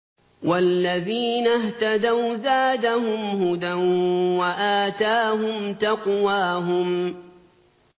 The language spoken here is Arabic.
وَالَّذِينَ اهْتَدَوْا زَادَهُمْ هُدًى وَآتَاهُمْ تَقْوَاهُمْ